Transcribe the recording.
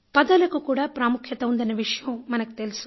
పదాలకు కూడా ప్రాముఖ్యత ఉందన్న విషయం మనకు తెలుసు